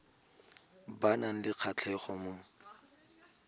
ba nang le kgatlhego mo